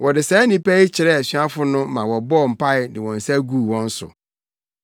Wɔde saa nnipa yi kyerɛɛ asuafo no ma wɔbɔɔ mpae de wɔn nsa guu wɔn so.